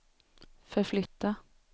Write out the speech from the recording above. förflytta